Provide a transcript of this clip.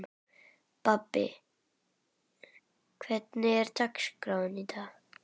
Bambi, hvernig er dagskráin í dag?